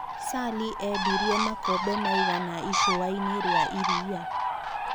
Sally endĩrie makombe maĩgana icũainĩ rĩa ĩrĩa